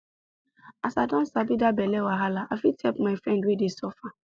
as i don sabi that belle wahala i fit help my friend wey dey suffer